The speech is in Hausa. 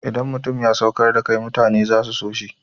Idan mutum ya saukar da kai mutane za su so shi.